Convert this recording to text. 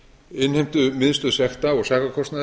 innheimtumiðstöð sekta og sakarkostnaðar